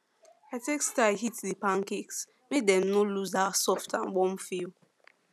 i take style heat the pancakes make dem no lose that soft and warm feel